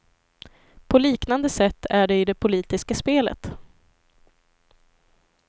På liknande sätt är det i det politiska spelet.